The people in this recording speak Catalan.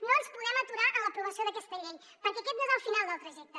no ens podem aturar en l’aprovació d’aquesta llei perquè aquest no és el final del trajecte